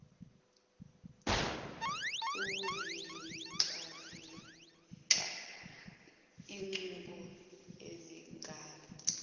ukuzivocavoca izicubu zingaba